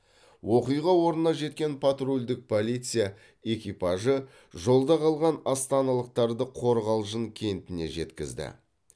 оқиға орнына жеткен патрульдік полиция экипажы жолда қалған астаналықтарды қорғалжын кентіне жеткізді